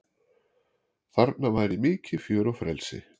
Þarna væri mikið fjör og frelsi